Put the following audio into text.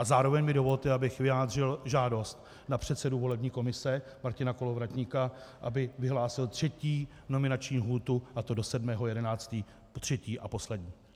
A zároveň mi dovolte, abych vyjádřil žádost na předsedu volební komise Martina Kolovratníka, aby vyhlásil třetí nominační lhůtu, a to do 7. 11. Třetí a poslední.